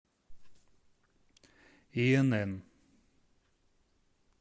инн